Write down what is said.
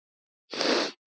Ræddum þau mál.